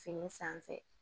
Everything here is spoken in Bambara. Fini sanfɛ